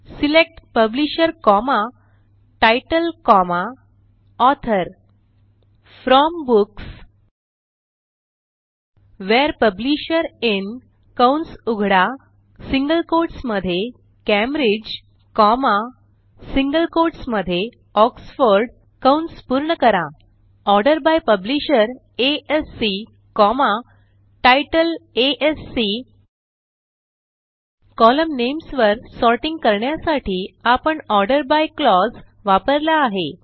select publisher comma title comma author from books where publisher in कंस उघडा single quotes मध्ये Cambridge comma single quotes मध्ये Oxford कंस पूर्ण करा Cambridge Oxford order by publisher ASC comma title ASC column names वर sorting करण्यासाठी आपण ऑर्डर बाय क्लॉज वापरला आहे